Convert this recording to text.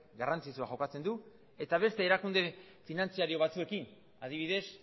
garrantzitsua jokatzen du eta beste erakunde finantziario batzuekin adibidez